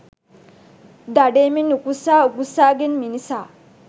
දඩයමෙන් උකුස්සා උකුස්සාගෙන් මිනිසා